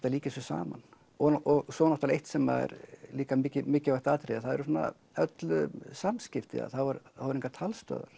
að líkja þessu saman og svo náttúrulega eitt sem er líka mikilvægt atriði að það eru svona öll samskipti að það voru engar talstöðvar